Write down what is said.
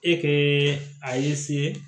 E kɛ a ye se